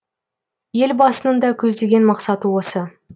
елбасының да көздеген мақсаты осы